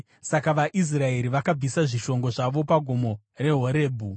Saka vaIsraeri vakabvisa zvishongo zvavo pagomo reHorebhi.